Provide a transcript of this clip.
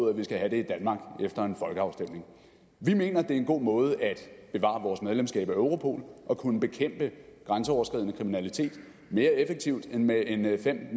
at vi skal have det i danmark efter en folkeafstemning vi mener det er en god måde at bevare vores medlemskab af europol og kunne bekæmpe grænseoverskridende kriminalitet mere effektivt end med en en fem